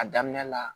A daminɛ la